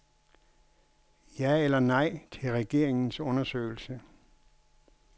Ja eller nej til regeringens undersøgelse.